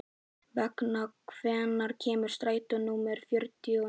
Veiga, hvenær kemur strætó númer fjörutíu og níu?